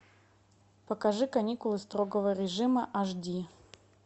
покажи каникулы строгого режима аш ди